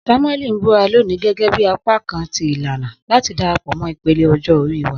Samueli n bura loni gẹgẹbi apakan ti ilana lati darapọ mọ ipele ọjọ ori wa.